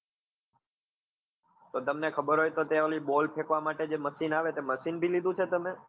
તો તમને ખબર હોય તો ત્યાં ઓલી boll ફેકવા માટે જે machine આવે તે machine બી લીધું છે તમે?